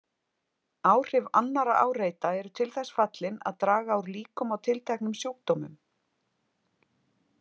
Áhrif annarra áreita eru til þess fallin að draga úr líkum á tilteknum sjúkdómum.